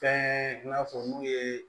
Fɛn i n'a fɔ n'u ye